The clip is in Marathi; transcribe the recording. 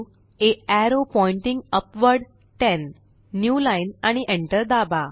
आ arrow pointing upward 10 new line आणि Enter दाबा